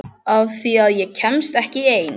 Af því að ég kemst ekki ein.